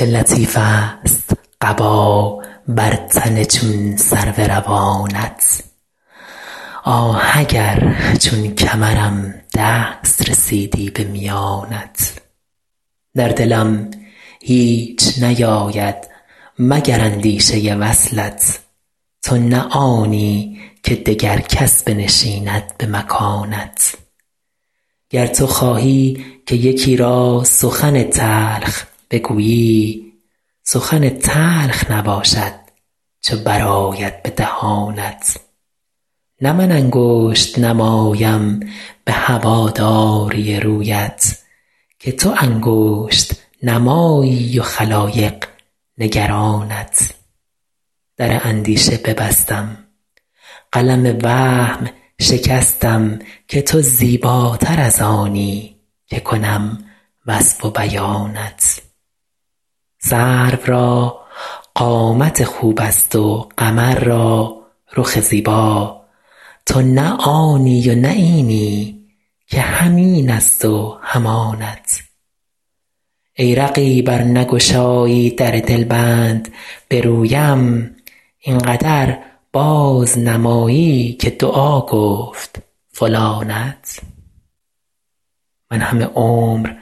چه لطیفست قبا بر تن چون سرو روانت آه اگر چون کمرم دست رسیدی به میانت در دلم هیچ نیاید مگر اندیشه وصلت تو نه آنی که دگر کس بنشیند به مکانت گر تو خواهی که یکی را سخن تلخ بگویی سخن تلخ نباشد چو برآید به دهانت نه من انگشت نمایم به هواداری رویت که تو انگشت نمایی و خلایق نگرانت در اندیشه ببستم قلم وهم شکستم که تو زیباتر از آنی که کنم وصف و بیانت سرو را قامت خوبست و قمر را رخ زیبا تو نه آنی و نه اینی که هم اینست و هم آنت ای رقیب ار نگشایی در دلبند به رویم این قدر بازنمایی که دعا گفت فلانت من همه عمر بر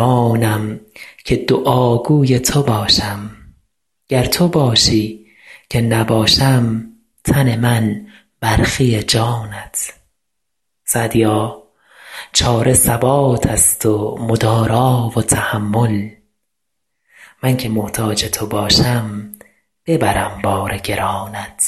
آنم که دعاگوی تو باشم گر تو خواهی که نباشم تن من برخی جانت سعدیا چاره ثباتست و مدارا و تحمل من که محتاج تو باشم ببرم بار گرانت